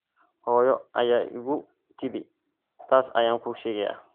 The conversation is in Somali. Hooyo ayaa igu tidhi taas ayaan kuu sheegayaa.